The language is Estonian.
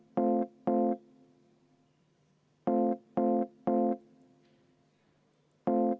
Ettepanek on leidnud toetust.